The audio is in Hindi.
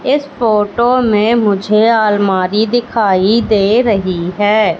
इस फोटो में मुझे अलमारी दिखाई दे रही है।